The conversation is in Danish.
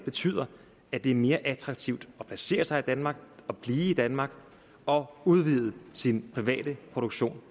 betyder at det er mere attraktivt at placere sig i danmark og blive i danmark og udvide sin private produktion